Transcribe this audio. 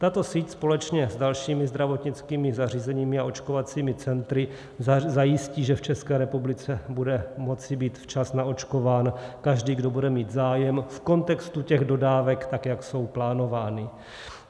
Tato síť společně s dalšími zdravotnickými zařízeními a očkovacími centry zajistí, že v České republice bude moci být včas naočkován každý, kdo bude mít zájem, v kontextu těch dodávek, tak jak jsou plánovány.